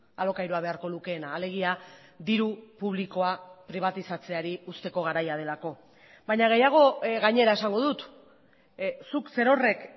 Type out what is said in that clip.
alokairua beharko lukeena alegia diru publikoa pribatizatzeari uzteko garaia delako baina gehiago gainera esango dut zuk zerorrek